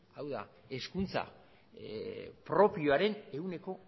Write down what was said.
hau da hezkuntza propioaren ehuneko